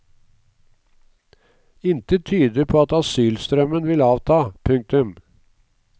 Intet tyder på at asylstrømmen vil avta. punktum